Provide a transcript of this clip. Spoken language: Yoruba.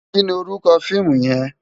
Ki ni órúkò fiimú yèn?